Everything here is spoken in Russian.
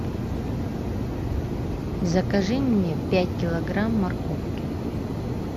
закажи мне пять килограмм морковки